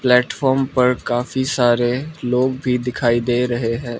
Platform पर काफी सारे लोग भी दिखाई दे रहे हैं।